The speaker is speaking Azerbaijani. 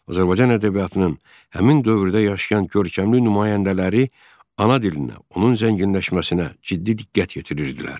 Azərbaycan ədəbiyyatının həmin dövrdə yaşayan görkəmli nümayəndələri ana dilinə, onun zənginləşməsinə ciddi diqqət yetirirdilər.